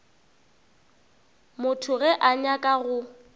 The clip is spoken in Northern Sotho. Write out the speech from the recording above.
motho ge a nyaka go